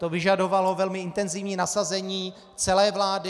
To vyžadovalo velmi intenzivní nasazení celé vlády.